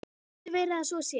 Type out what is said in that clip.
Getur verið að svo sé?